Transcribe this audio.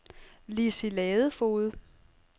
Lissi Ladefoged